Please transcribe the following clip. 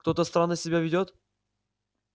кто-то странно себя ведёт